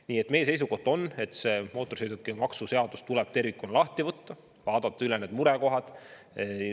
Nii et meie seisukoht on, et mootorsõidukimaksu seadus tuleb tervikuna lahti võtta ja need murekohad üle vaadata.